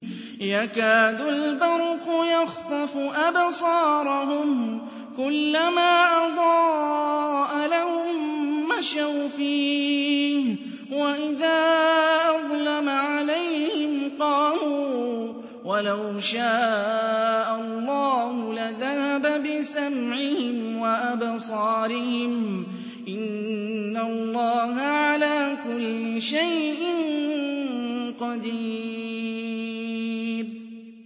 يَكَادُ الْبَرْقُ يَخْطَفُ أَبْصَارَهُمْ ۖ كُلَّمَا أَضَاءَ لَهُم مَّشَوْا فِيهِ وَإِذَا أَظْلَمَ عَلَيْهِمْ قَامُوا ۚ وَلَوْ شَاءَ اللَّهُ لَذَهَبَ بِسَمْعِهِمْ وَأَبْصَارِهِمْ ۚ إِنَّ اللَّهَ عَلَىٰ كُلِّ شَيْءٍ قَدِيرٌ